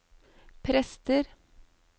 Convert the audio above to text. prester